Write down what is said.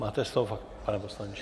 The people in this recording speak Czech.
Máte slovo, pane poslanče.